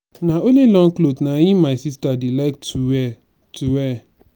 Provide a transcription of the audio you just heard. na only long cloths na im my sister dey like to wear to wear